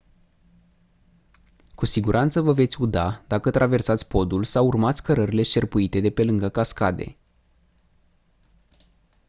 cu siguranță vă veți uda dacă traversați podul sau urmați cărările șerpuite de pe lângă cascade